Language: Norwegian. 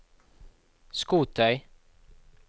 skotøy